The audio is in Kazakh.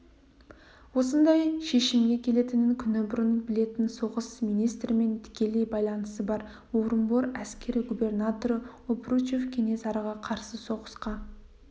осындай шешімге келетінін күні бұрын білетін соғыс министрімен тікелей байланысы бар орынбор әскери губернаторы обручев кенесарыға қарсы соғысқа